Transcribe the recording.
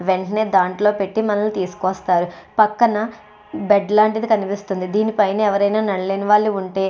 వెంటనే దాంట్లో పెట్టి తీసుకొస్తారు. పక్కన బెడ్ లాంటిది కనిపిస్తుంది. దీని పైన నడవలేనివారు ఎవరైనా ఉంటే --